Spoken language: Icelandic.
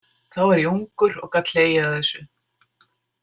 Þá var ég ungur og gat hlegið að þessu.